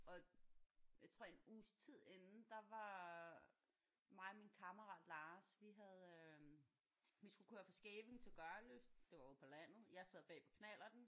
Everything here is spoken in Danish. Og jeg tror en uges tid inden der var mig og min kammerat Lars vi havde øh vi skulle køre fra Skævinge til Gørløse det var jo på landet jeg sad bag på knallerten